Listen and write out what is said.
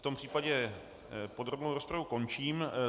V tom případě podrobnou rozpravu končím.